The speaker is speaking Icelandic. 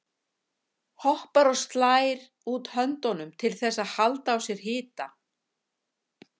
Hoppar og slær út höndunum til þess að halda á sér hita.